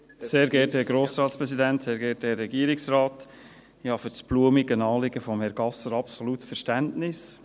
Ich habe für das blumige Anliegen von Herrn Gasser absolut Verständnis.